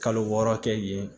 Kalo wɔɔrɔ kɛ yen